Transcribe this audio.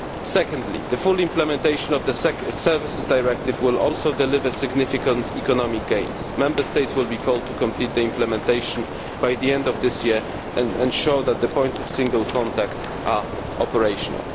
Secondly, full implementation of the Services Directive will also deliver significant economic gains. Member States will be called to complete the implementation by the end of this year and show that the points of single contact are operational.